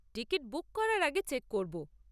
Ticket book করার আগে check করব।